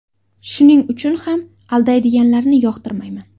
Shuning uchun ham aldaydiganlarni yoqtirmayman.